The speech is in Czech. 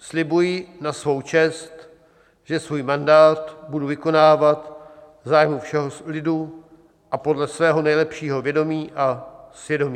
Slibuji na svou čest, že svůj mandát budu vykonávat v zájmu všeho lidu a podle svého nejlepšího vědomí a svědomí."